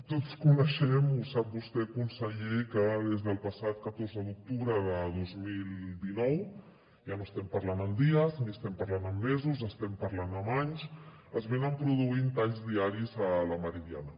tots coneixem ho sap vostè conseller que des del passat catorze d’octubre de dos mil dinou ja no estem parlant en dies ni estem parlant en mesos estem parlant amb anys s’estan produint talls diaris a la meridiana